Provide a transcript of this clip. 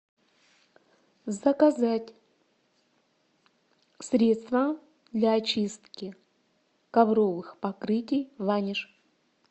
заказать средство для очистки ковровых покрытий ваниш